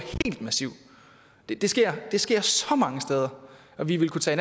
helt massivt det sker det sker så mange steder og vi vil kunne tage